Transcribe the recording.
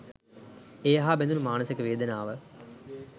ඒ හා බැඳුනු මානසික වේදනාව